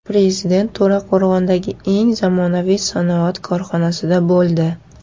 Prezident To‘raqo‘rg‘ondagi eng zamonaviy sanoat korxonasida bo‘ldi.